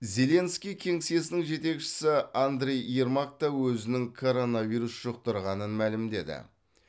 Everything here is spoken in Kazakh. зеленский кеңсесінің жетекшісі андрий ермак та өзінің коронавирус жұқтырғанын мәлімдеді